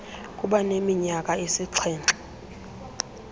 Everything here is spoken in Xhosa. kuba neminyaka esixhenxe